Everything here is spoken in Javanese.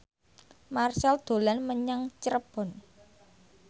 Marchell dolan menyang Cirebon